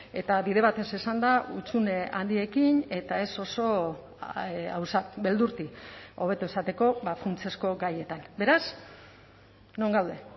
eta bide batez esanda hutsune handiekin eta ez oso beldurti hobeto esateko funtsezko gaietan beraz non gaude